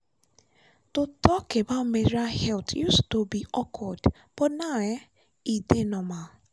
to talk about menstrual health used to be awkward but now um e dey normal.